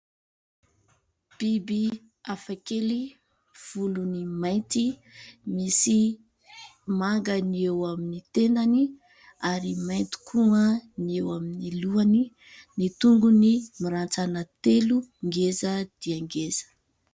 Biby hafakely : volony mainty, misy manga ny eo amin'ny tendany ary mainty koa ny eo amin'ny lohany, ny tongony mirantsana telo ngeza dia ngeza.